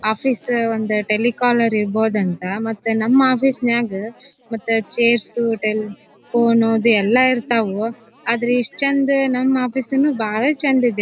office ಒಂದ telecaller ಇರ್ಬೋದಂತ ಮತ್ತ ನಮ್ ಆಫೀಸ್ ನಾಗ ಮತ್ತ ಚೇರ್ಸ್ ಟೇಲಿ ಫೋನ್ ಎಲ್ಲಾ ಇರ್ತವು ಆದ್ರ ಇಸ್ಟ್ ಚಂದ ನಮ್ ಆಫೀಸ್ ಇನ್ನು ಬಹಳ ಚಂದ ಇದ --